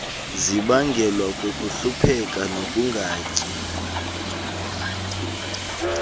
zibangelwa kukuhlupheka nokungatyi